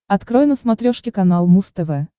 открой на смотрешке канал муз тв